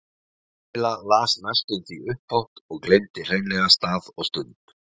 Kamilla las næstum því upphátt og gleymdi hreinlega stað og stund.